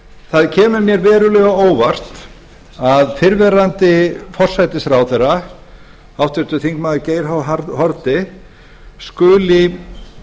það kemur mér verulega á óvart að fyrrverandi forsætisráðherra háttvirtur þingmaður geir h haarde skuli